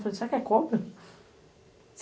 será que é cobra?